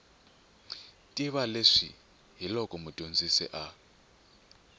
tiva leswi hiloko mudyondzi a